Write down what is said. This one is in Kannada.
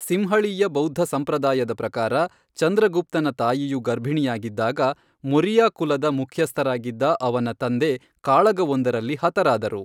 ಸಿಂಹಳೀಯ ಬೌದ್ಧ ಸಂಪ್ರದಾಯದ ಪ್ರಕಾರ, ಚಂದ್ರಗುಪ್ತನ ತಾಯಿಯು ಗರ್ಭಿಣಿಯಾಗಿದ್ದಾಗ, ಮೊರಿಯಾ ಕುಲದ ಮುಖ್ಯಸ್ಥರಾಗಿದ್ದ ಅವನ ತಂದೆ ಕಾಳಗವೊಂದರಲ್ಲಿ ಹತರಾದರು.